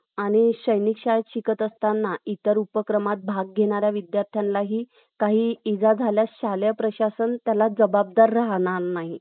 आणि सैनिक शाळेत शिकत असताना इतर उपक्रमात भाग घेणार्यांना विद्यार्थ्यांना काही इजा झाल्यास शालेय प्रशासन त्याला जवाबदार राहणार नाही